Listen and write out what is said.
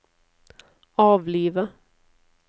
avlive